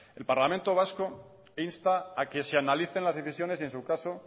el parlamento vasco insta a que se analice las decisiones y en su caso